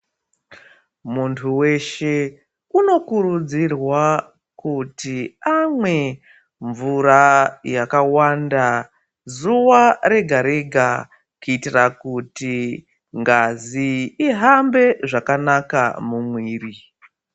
Muntu weshe unokurudzirwa kuti mawe mvura yakawanda zuwa rega rega kuitira kuti ngazi ihambwe zvakanaka muwiri.